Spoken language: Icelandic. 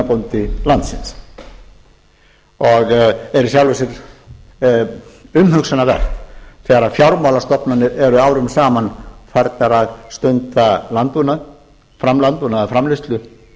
svínabóndi landsins og er í sjálfu sér umhugsunarvert þegar fjármálastofnanir eru árum saman farnar að stunda landbúnaðarframleiðslu